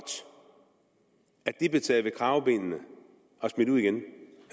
at de blev taget ved kravebenet og smidt ud igen